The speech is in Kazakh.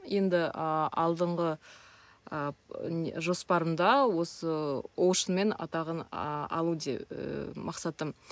енді алдыңғы ы жоспарымда осы оушнмен атағын алу де і мақсатым